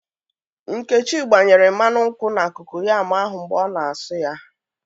Nkechi gbanyere mmanu nkwu na kokoyam ahụ mgbe ọ na-asụ ya